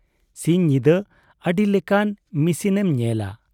ᱥᱤᱧ ᱧᱤᱫᱟᱹ ᱟᱹᱰᱤ ᱞᱮᱠᱟᱱ ᱢᱤᱥᱤᱱᱮᱢ ᱧᱮᱞᱟ ᱾